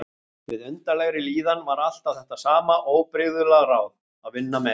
Við undarlegri líðan var alltaf þetta sama óbrigðula ráð: Að vinna meira.